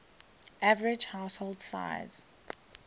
average household size